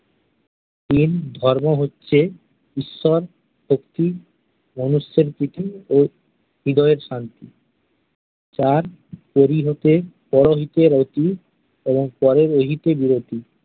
তিন, ধর্ম হচ্ছে ঈশ্বর, শক্তি মনুষ্যের প্রীতি ও হৃদয়ের শান্তি চার পরিহতে পরোহিতে রতি এবং পররোহিতে বিরতি।